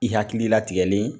I hakili latigɛlen